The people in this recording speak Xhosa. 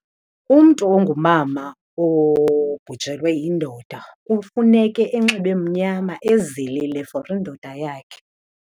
Umntu ongumama obhujelwe yindoda kufuneke enxibe mnyama ezilile for indoda yakhe.